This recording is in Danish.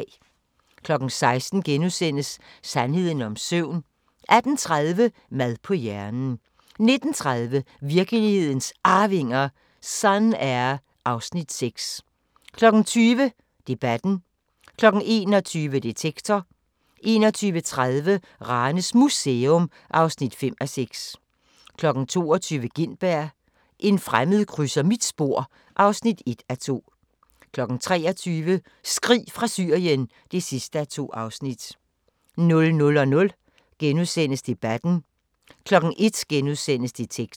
16:00: Sandheden om søvn * 18:30: Mad på hjernen 19:30: Virkelighedens Arvinger: Sun-Air (Afs. 6) 20:00: Debatten 21:00: Detektor 21:30: Ranes Museum (5:6) 22:00: Gintberg – en fremmed krydser mit spor (1:2) 23:00: Skrig fra Syrien (2:2) 00:00: Debatten * 01:00: Detektor *